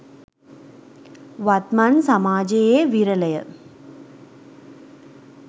වත්මන් සමාජයේ විරලය.